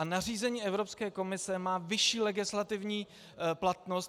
A nařízení Evropské komise má vyšší legislativní platnost.